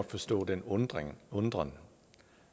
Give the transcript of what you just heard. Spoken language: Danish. forstå den undren undren